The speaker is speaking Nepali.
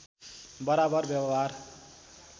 बराबर व्यवहार